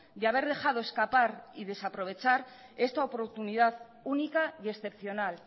de haber dejado escapar y desaprovechar esta oportunidad única y excepcional